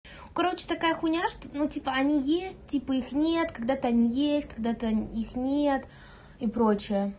короче такая хуйня что ну типа они есть типа их нет когда-то они есть когда-то их нет и прочее